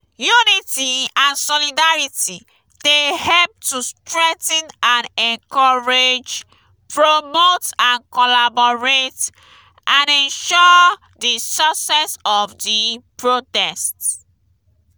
unity and solidarity dey help to strengthen and encourage promote and collaborate and ensure di success of di protest.